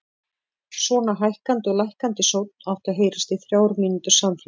Svona hækkandi og lækkandi sónn átti að heyrast í þrjár mínútur samfleytt.